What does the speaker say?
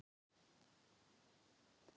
Hún hélt til móts við hann niður plankana.